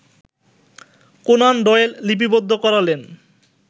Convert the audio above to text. Conan Doyle লিপিবদ্ধ করালেন